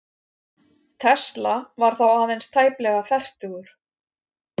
Tesla var þá aðeins tæplega fertugur.